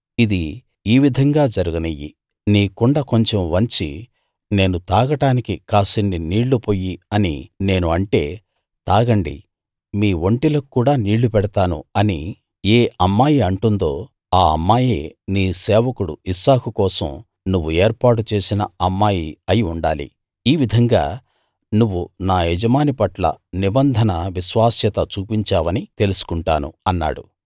ఇది ఈ విధంగా జరగనియ్యి నీ కుండ కొంచెం వంచి నేను తాగడానికి కాసిన్ని నీళ్ళు పొయ్యి అని నేను అంటే తాగండి మీ ఒంటెలకు కూడా నీళ్ళు పెడతాను అని ఏ అమ్మాయి అంటుందో ఆ అమ్మాయే నీ సేవకుడు ఇస్సాకు కోసం నువ్వు ఏర్పాటు చేసిన అమ్మాయి అయి ఉండాలి ఈ విధంగా నువ్వు నా యజమాని పట్ల నిబంధన విశ్వాస్యత చూపించావని తెలుసుకుంటాను అన్నాడు